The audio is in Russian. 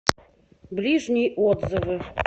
ближний отзывы